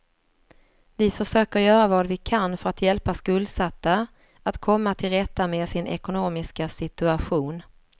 Vi försöker göra vad vi kan för att hjälpa skuldsatta att komma till rätta med sin ekonomiska situation.